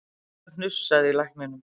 En það hnussaði í lækninum